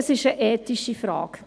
Es ist eine ethische Frage.